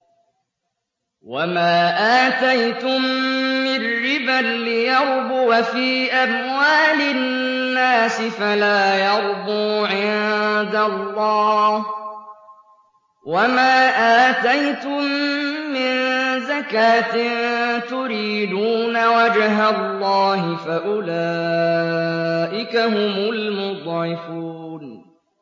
وَمَا آتَيْتُم مِّن رِّبًا لِّيَرْبُوَ فِي أَمْوَالِ النَّاسِ فَلَا يَرْبُو عِندَ اللَّهِ ۖ وَمَا آتَيْتُم مِّن زَكَاةٍ تُرِيدُونَ وَجْهَ اللَّهِ فَأُولَٰئِكَ هُمُ الْمُضْعِفُونَ